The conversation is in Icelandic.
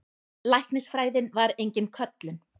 Læknisfræðin var engin köllun.